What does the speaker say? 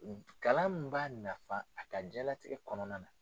Kalan min b'a nafa a ka jiyan latigɛ kɔnɔna na.